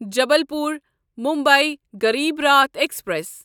Jabalpur Mumbai Garibrath express